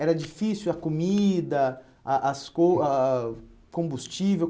Era difícil a comida, a as coi ah ah ah combustível?